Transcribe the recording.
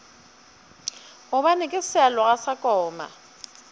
gobane ke sealoga sa koma